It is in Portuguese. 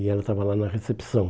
E ela estava lá na recepção.